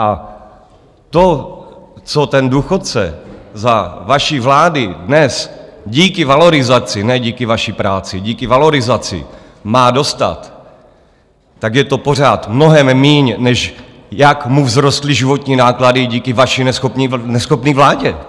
A to, co ten důchodce za vaší vlády dnes díky valorizaci - ne díky vaší práci, díky valorizaci - má dostat, tak je to pořád mnohem míň, než jak mu vzrostly životní náklady díky vaší neschopné vládě.